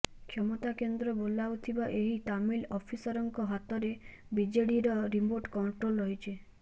କ୍ଷମତା କେନ୍ଦ୍ର ବୋଲାଉଥିବା ଏହି ତାମିଲ ଅଫିସରଙ୍କ ହାତରେ ବିଜେଡିର ରିମୋଟ କଣ୍ଟ୍ରୋଲ ରହିଛି